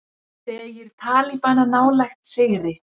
Segir talibana nálægt sigri